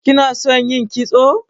Kina son yin kitso?